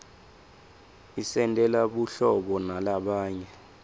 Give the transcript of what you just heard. isentela buhlobo nalabanye